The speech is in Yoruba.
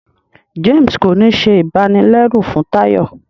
James kò ní ṣe ibanilẹru fún Tayo